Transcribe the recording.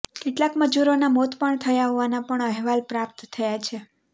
કેટલાક મજૂરોના મોત પણ થયા હોવાના પણ અહેવાલ પ્રાપ્ત થયા છે